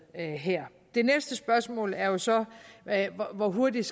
her det næste spørgsmål er jo så hvor hurtigt